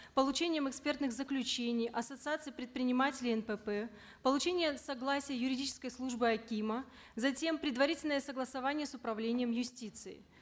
получением экспертных заключений ассоциаций предпринимателей нпп получение согласия юридической службы акима затем предварительное согласование с управлением юстиции